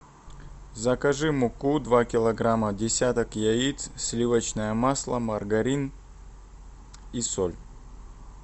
закажи муку два килограмма десяток яиц сливочное масло маргарин и соль